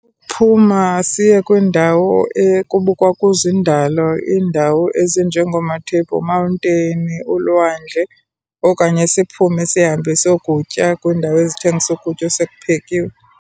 Phuma siye kwindawo ekubukwa kuzo indalo, iindawo ezinjengoomaTable Mountain, ulwandle. Okanye siphume sihambe siyokutya kwiindawo ezithengisa ukutya osekuphekiwe.